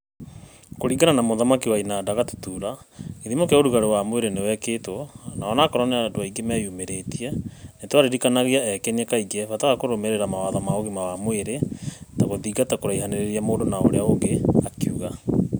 Kũringana na mũthaki wa inanda Gatutura, gĩthimo kĩa ũrugarĩ wa mwĩrĩ nĩwekĩtwo na ũnakorwo nĩ andũ aĩngĩ meyũmĩrĩtie, nĩtwaririkanagia ekenia kaingĩ bata wa kũrũmĩrĩra mawatho ma ũgima wa mwĩrĩ ta gũthingata kũraihanĩrĩria mũndũ na ũrĩa ũngĩ,'' akiuga.